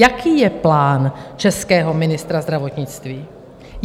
Jaký je plán českého ministra zdravotnictví?